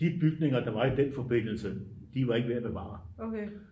de bygninger der var i den forbindelse de var ikke værd at bevare